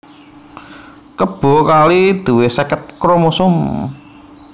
Kebo kali duwé seket kromosom